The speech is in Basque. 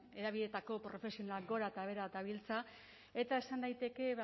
hedabideetako profesionalak gora eta behera dabiltza eta esan daiteke